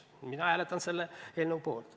Mina hääletan selle eelnõu poolt.